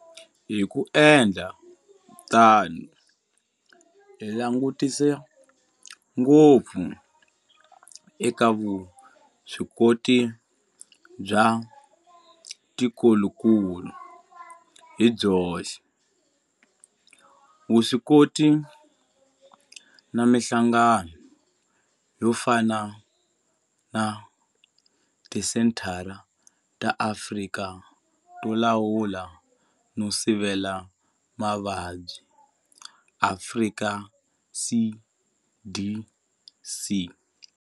Hi ku endla tano hi langutisa ngopfu eka vuswikoti bya tikokulu hi byoxe, vuswikoti na mihlangano yo fana na Tisenthara ta Afrika to Lawula no Sivela Mavabyi, Afrika CDC.